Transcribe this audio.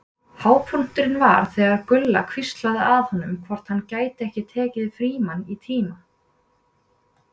Hápunkturinn var þegar Gulla hvíslaði að honum hvort hann gæti ekki tekið Frímann í tíma.